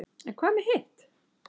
en hvað með hitt